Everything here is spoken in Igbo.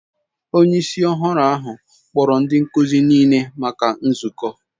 Onye isi ọhụrụ ahụ kpọrọ ndị nkuzi niile maka nzukọ.